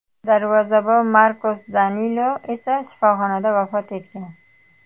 Darvozabon Markos Danilo esa shifoxonada vafot etgan.